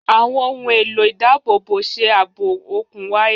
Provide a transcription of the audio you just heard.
Àwọn ohùn èlò ìdábòbòṣe ààbò òkun wáyà.